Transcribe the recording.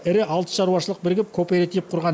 ірі алты шаруашылық бірігіп кооператив құрған